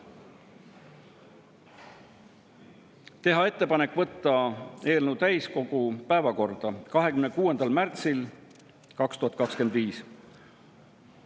Esiteks, teha ettepanek võtta eelnõu täiskogu päevakorda 26. märtsil 2025.